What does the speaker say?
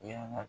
Yan nɔ